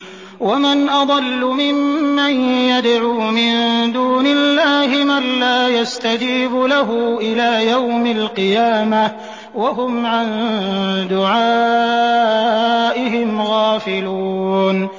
وَمَنْ أَضَلُّ مِمَّن يَدْعُو مِن دُونِ اللَّهِ مَن لَّا يَسْتَجِيبُ لَهُ إِلَىٰ يَوْمِ الْقِيَامَةِ وَهُمْ عَن دُعَائِهِمْ غَافِلُونَ